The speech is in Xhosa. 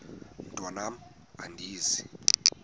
mntwan am andizi